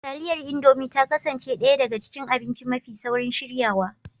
Taliyar Indomi ta kasance ɗaya daga cikin abinci mafi saurin shiryawa